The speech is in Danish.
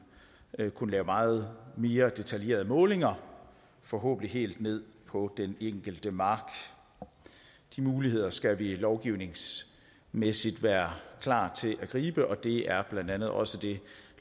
vil kunne lave meget mere detaljerede målinger forhåbentlig helt ned på den enkelte mark de muligheder skal vi lovgivningsmæssigt være klar til at gribe og det er blandt andet også det